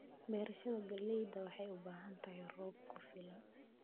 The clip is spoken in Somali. Beerashada galleyda waxay u baahan tahay roob ku filan.